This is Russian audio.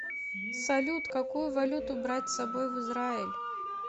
салют какую валюту брать с собой в израиль